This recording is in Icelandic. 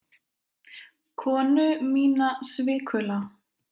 Konu mína svikula.